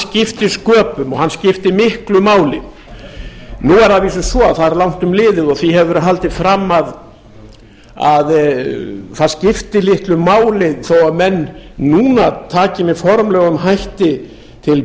skipti sköpum og hann skipti miklu máli nú er það að vísu svo að það er langt um liðið og því hefur verið haldið fram að það skipti litlu máli þó að menn núna taki með formlegum hætti til